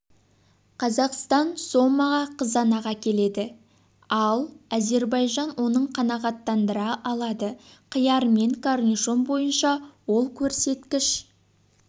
қазақстан сомаға қызанақ әкеледі ал әзербайжан оның қанағаттандыра алады қияр мен корнишон бойынша ол көрсеткіш